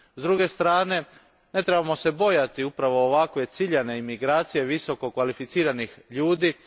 S druge strane, ne trebamo se bojati upravo ovakve ciljane imigracije visokokvalificiranih ljudi.